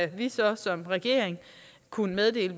vi så som regering kunne meddele